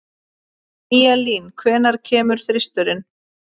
Eyjalín, hvenær kemur þristurinn?